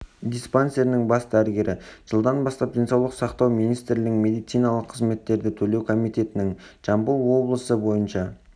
диспансерінің бас дәрігері жылдан бастап денсаулық сақтау министрлігінің медициналық қызметтерді төлеу комитетінің жамбыл облысы бойынша